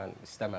Mən istəmədim.